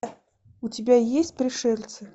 у тебя есть пришельцы